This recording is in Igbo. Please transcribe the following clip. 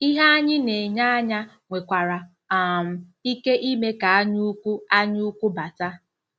Ihe anyị na-enye anya nwekwara um ike ime ka anyaukwu anyaukwu bata.